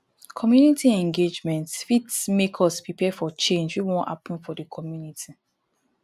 community engagement fit make us prepare for change wey wan happen for the community